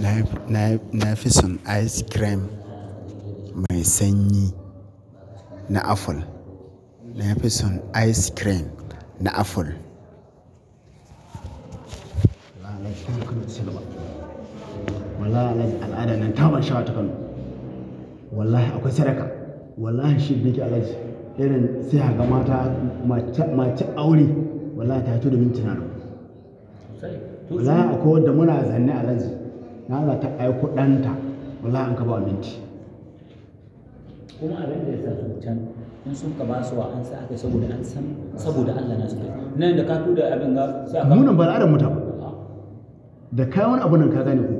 Nafi son ice cream mai sanyi na aful. Nafi son ice cream na aful. Wallahi al'ada nan ta ban sha'awa ta kano Wallahi akwai sadaka. Wallahi shidda, yaron sihar ga mata mace aure wallahi ta turo min tana roko. Wallahi akwai wadda muna zane a nan. Na za ta ɗau kuɗanta, wallahi in ka ba wa abinci Kuma abin da ya zaluntar, in sun ka ba su wa an sa a kai saboda an san, saboda Allah na su da kai. Nan da ka kawo da abin ka, sa ka- Munan ba aladarmu taba. Da kai wani abun nan ka gane ko,